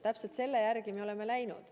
Täpselt selle järgi me oleme tegutsenud.